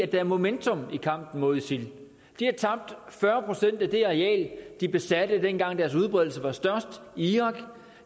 der er momentum i kampen mod isil de har tabt fyrre procent af det areal de besatte dengang deres udbredelse var størst i irak